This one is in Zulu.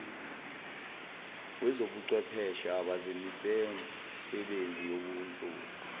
wezobuchwepheshe abazemisebenzi yobunhloli